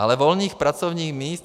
Ale volných pracovních míst.